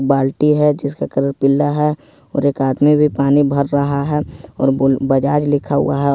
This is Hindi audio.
बाल्टी है जिसका कलर पीला है और एक आदमी भी पानी भर रहा है और बोल बजाज लिखा हुआ है |